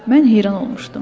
Mən heyran olmuşdum.